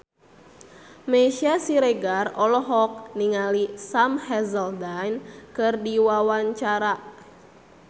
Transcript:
Meisya Siregar olohok ningali Sam Hazeldine keur diwawancara